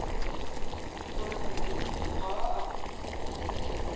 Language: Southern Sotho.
hore mokopi ha a a